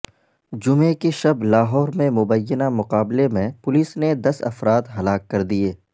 جمعے کی شب لاہور میں مبینہ مقابلے میں پولیس نے دس افراد ہلاک کر دیے